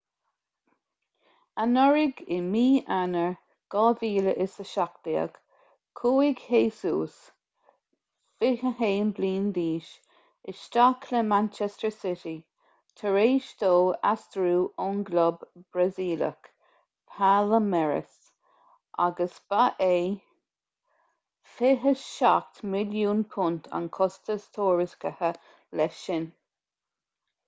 anuraidh i mí eanáir 2017 chuaigh jesus 21 bliain d'aois isteach le manchester city tar éis dó aistriú ón gclub brasaíleach palmeiras agus ba é £27 milliún an costas tuairiscithe leis sin